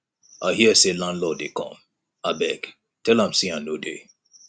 i hear say landlord dey come abeg tell am say i no dey